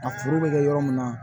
A furu bɛ kɛ yɔrɔ min na